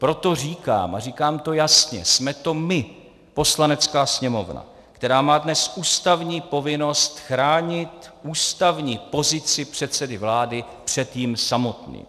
Proto říkám, a říkám to jasně, jsme to my, Poslanecká sněmovna, která má dnes ústavní povinnost chránit ústavní pozici předsedy vlády před ním samotným.